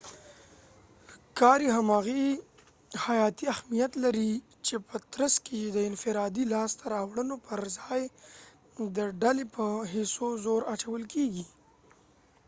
کاري همغږي حیاتي اهمیت لري چې په ترڅ کې يې د انفرادي لاسته راوړنو پر ځای د ډلې په هڅو زور اچول کیږي